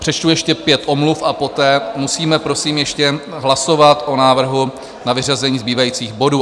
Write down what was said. Přečtu ještě pět omluv a poté musíme prosím ještě hlasovat o návrhu na vyřazení zbývajících bodů.